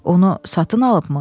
Onu satın alıbmı?